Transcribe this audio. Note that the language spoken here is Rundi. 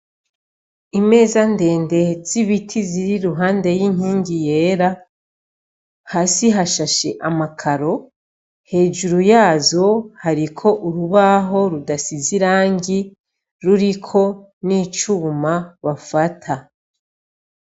Imeza ndende z'ibiti ziri iruhande y'inkingi yera, hasi hashashe amakaro, hejuru yazo hariko urubaho rudasize irangi ruriko n'icuma bafata.